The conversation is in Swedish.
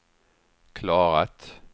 klarat